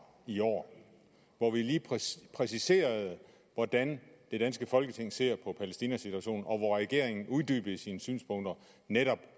i år hvor vi præciserede hvordan det danske folketing ser på palæstinas situation og regeringen uddybede sine synspunkter netop